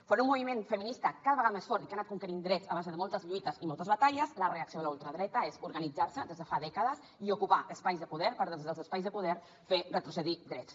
enfront d’un moviment feminista cada vegada més fort i que ha anat conquerint drets a base de moltes lluites i moltes batalles la reacció de la ultradreta és organitzar se des de fa dècades i ocupar espais de poder per des dels espais de poder fer retrocedir drets